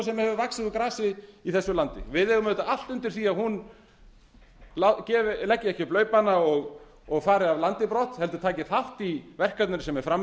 sem hefur vaxið úr grasi í þessu landi við eigum allt undir því að hún leggi ekki upp laupana og fari af landi brott heldur taki þátt í verkefninu sem er fram